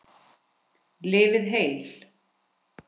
Lifið heil.